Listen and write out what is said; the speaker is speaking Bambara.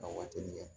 A waatinin kɛ